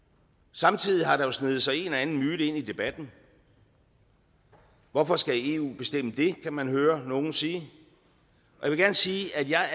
samtidig har der sneget sig en eller anden myte ind i debatten hvorfor skal eu bestemme det kan man høre nogen sige jeg vil gerne sige at jeg